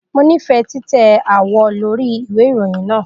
Mo nifẹ titẹ awọ lori iwe irohin naa.